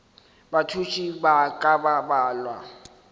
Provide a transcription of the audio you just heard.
bathuši ba ka ba balwa